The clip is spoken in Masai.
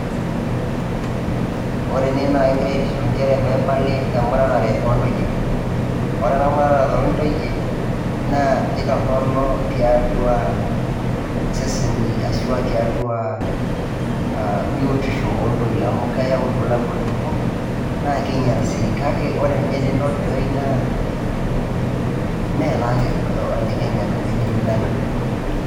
Ore ene naa egirai ajo njere peepali emuratare o ntoyie. Ore ena muratare o ntoyie naa itorono tiatua seseni ashu tiatua biotisho o ntoyie amu keyau irbulabul torok naake inyal sii. Kake ore nye tenidol tenewei naa meetake ene Kenya ena ene Uganda.